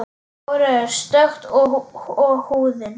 Hárið er stökkt og húðin.